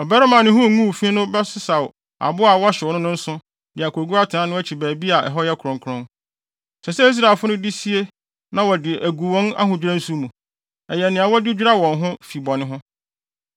“Ɔbarima a ne ho nguu fi no bɛsesaw aboa a wɔhyew no no nsõ de akogu atenae no akyi baabi a ɛhɔ yɛ kronkron. Ɛsɛ sɛ Israelfo no de sie na wɔde agu wɔn ahodwira nsu mu; ɛyɛ nea wɔde dwira wɔn ho fi bɔne ho.